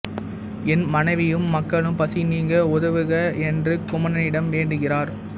என் மனைவியும் மக்களும் பசி நீங்க உதவுக என்று குமணனிடம் வேண்டுகிறார்